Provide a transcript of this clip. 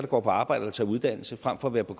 går på arbejde og tager uddannelse frem for at være på